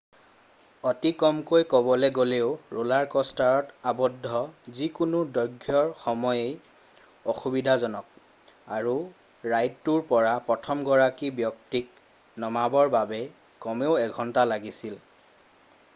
অতি কমকৈ ক'বলৈ গ'লেও ৰ'লাৰ কষ্টাৰত আৱদ্ধ যিকোনো দৈৰ্ঘ্যৰ সময়েই অসুবিধাজনক আৰু ৰাইডটোৰ পৰা প্ৰথমগৰাকী ব্যক্তিক নমাবৰ বাবে কমেও এঘন্টা লাগিছিল